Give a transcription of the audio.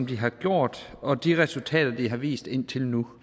de har gjort og for de resultater de har vist indtil nu